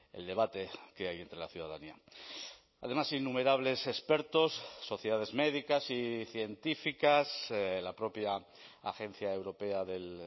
el debate que hay entre la ciudadanía además innumerables expertos sociedades médicas y científicas la propia agencia europea del